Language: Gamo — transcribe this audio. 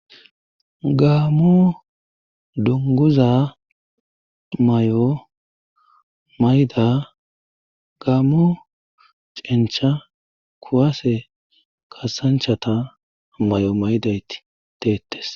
gaamu dunguza may7o mayda gaammu cencha kuwase kasanchata may7o maydayti deettes